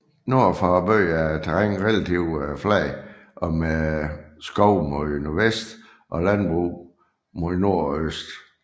Nord for byen er terrænet relativt fladt med skov mod nordvest og landbrug mod nord og øst